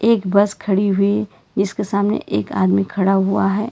एक बस खड़ी हुई इसके सामने एक आदमी खड़ा हुआ है।